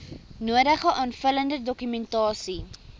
nodige aanvullende dokumentasie